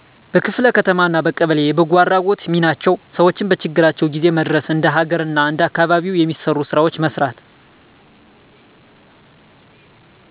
በክፍለ ከተማ አና በቀበሌ የበጎአድራጎት :ሚናቸው ሰውን በችግራቸው ጊዜው መድረስ እንደ ሀገር አና እንደአካባቢው የሚሰሩ ስራወችን መስራት